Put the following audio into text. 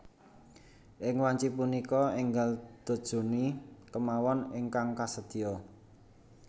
Ing wanci punika enggal Dodge Journey kemawon ingkang kasedia